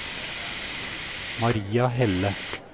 Maria Helle